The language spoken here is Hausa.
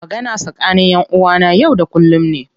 Magana tsakani ƴan uwa na yau da kullum ne.